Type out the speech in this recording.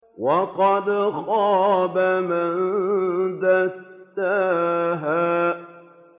وَقَدْ خَابَ مَن دَسَّاهَا